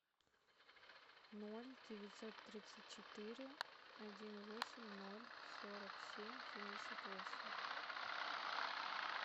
ноль девятьсот тридцать четыре один восемь ноль сорок семь семьдесят восемь